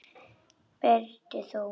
Berti þó!